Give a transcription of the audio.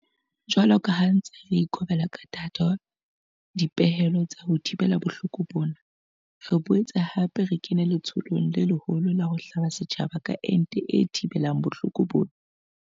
Jwalo ka ha re ntse re ikobela ka thata dipehelo tsa ho thibela bohloko bona, re boetse hape re kena letsholong le leholo la ho hlaba setjhaba ka ente e thibelang bohloko bona.